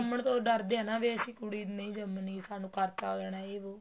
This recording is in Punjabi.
ਜੰਮਣ ਤੋ ਡਰਦੇ ਹੈ ਨਾ ਅਸੀਂ ਕੁੜੀ ਨਹੀਂ ਜਮਣੀ ਸਾਨੂੰ ਖਰਚਾ ਹੋ ਜਾਣਾ ਹੈ ਜ਼ੇ ਵੋ